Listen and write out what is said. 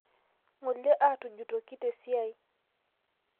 Ngole aatujutoki tesiai